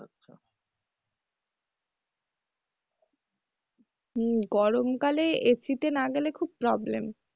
হুম গরম কালে AC তে না গেলে খুব problem